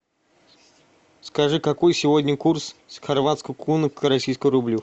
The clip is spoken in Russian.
скажи какой сегодня курс хорватской куны к российскому рублю